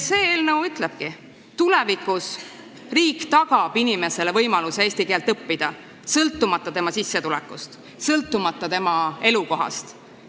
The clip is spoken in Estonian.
See eelnõu ütlebki, et tulevikus tagab riik inimesele võimaluse eesti keelt õppida, sõltumata tema sissetulekust ja sõltumata tema elukohast.